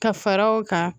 Ka fara o kan